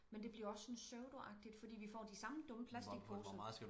Men det bliver også sådan pseudoagtigt fordi vi får de samme dumme platicposer